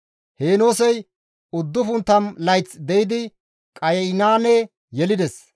Heenoosey 90 layth de7idi Qaynaane yelides;